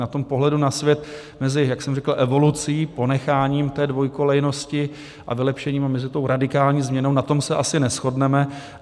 na tom pohledu na svět mezi, jak jsem říkal, evolucí, ponecháním té dvojkolejnosti, a vylepšením, a mezi tou radikální změnou, na tom se asi neshodneme.